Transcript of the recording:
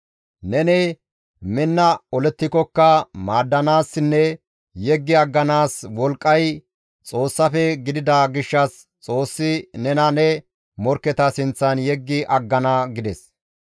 Neni minna olettikokka maaddanaassinne yeggi agganaas wolqqay Xoossafe gidida gishshas Xoossi nena ne morkketa sinththan yeggi aggana» gides.